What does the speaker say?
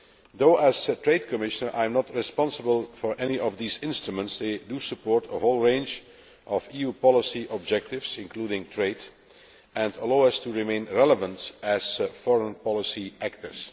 Though as Trade Commissioner I am not responsible for any of these instruments, they do support a whole range of EU policy objectives, including trade, and allow us to remain relevant as foreign policy actors.